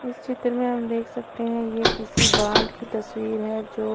इस चित्र में हम देख सकते है ये किसी बांध की तस्वीर है जो--